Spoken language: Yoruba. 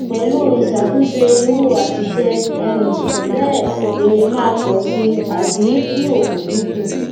pẹlu isatunse iru asise um bẹẹ ere maa pọ si abi ki ofo dinku